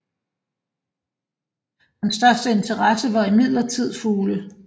Hans største interesse var imidlertid fugle